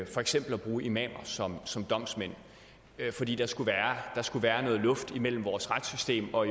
for eksempel at bruge imamer som som domsmænd fordi der skulle skulle være noget luft imellem vores retssystem og